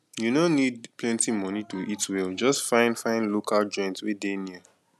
you no need plenty money to eat well just find find local joint wey dey near